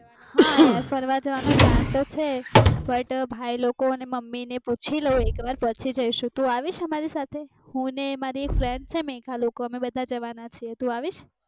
હા ફરવા જવાનો plan તો છે plan ભાઈ લોકો ને મમ્મી ને પૂછી લઉં એક વાર પછી જૈસુ, તું અવિસ અમારી સાથે હું ને મારી એક friend છે મેઘા અમે જવાના છીએ